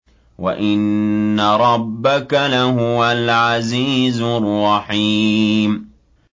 وَإِنَّ رَبَّكَ لَهُوَ الْعَزِيزُ الرَّحِيمُ